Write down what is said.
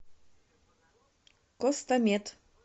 костамед